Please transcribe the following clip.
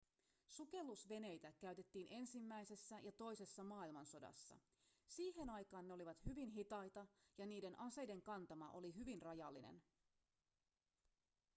sukellusveneitä käytettiin ensimmäisessä ja toisessa maailmansodassa siihen aikaan ne olivat hyvin hitaita ja niiden aseiden kantama oli hyvin rajallinen